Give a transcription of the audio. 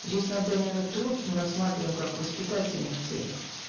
здесь надо именно труд мы рассматриваем как в воспитательных целях